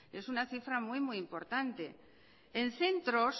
es una cifra muy muy importante en centros